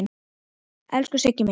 Elsku Siggi minn.